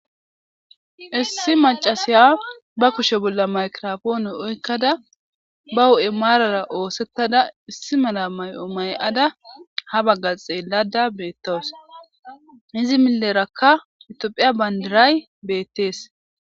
Issi mac'asiya ba kushe bola maygirapone oykada ba hu'e marara osetada issi mala may'o may'ada ha baga xelayda betawus izi mileraka itopia bandiray betes.